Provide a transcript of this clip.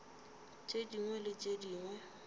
tše dingwe le tše dingwe